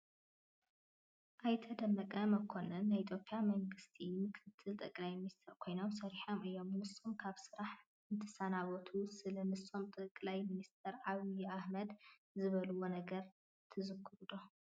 ኣይተ ደመቀ መኮነን ናይ ኢትዮጵያ መንግስቲ ምክትል ጠቅላይ ሚኒስትር ኮይኖም ሰሪሖም እዮም፡፡ ንሶም ካብ ስራሕ እንትሰናበቱ ስለ ንሶም ጠቅላይ ሚኒስትር ዓብዪ ኣሕመድ ዝበልዎ ነገር ትዝክሩ ዶ?